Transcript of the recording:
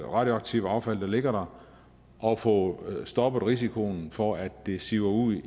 radioaktive affald der ligger der og få stoppet risikoen for at det siver ud